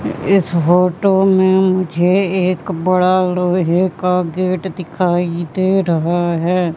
इस फोटो में मुझे एक बड़ा लोहे का गेट दिखाई दे रहा है।